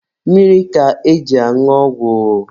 Mmiri ka eji añụ ọgwụ.